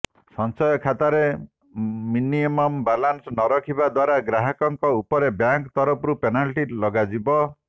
ସଂଚୟ ଖାତାରେ minimum balance ନରଖିବା ଦ୍ୱାରା ଗ୍ରାହକଙ୍କ ଉପରେ ବ୍ୟାଙ୍କ ତରଫରୁ ପେନାଲ୍ଟି ଲଗାଯିବ